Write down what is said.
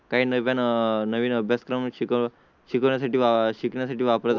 काही नव्या नवीन अभ्यासक्रम शिकवण्या साठी वा शिकण्या साठी वापरत